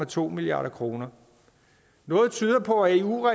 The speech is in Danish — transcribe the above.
to milliard kroner noget tyder på at eu